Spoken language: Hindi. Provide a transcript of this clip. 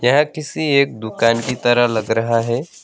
यह किसी एक दुकान की तरह लग रहा है।